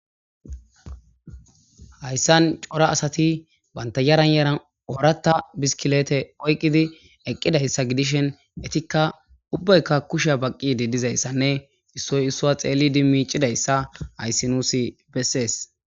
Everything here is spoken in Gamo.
Hayssan cora asatti bantta yeran yeran oraththa biskilette oyqqidi eqqidayssa gidishin ettika ubbaykka kushshiya baqiddi Dizayssanne issoy issuwa xeelidi miccidayssa hayssi nuusi besses.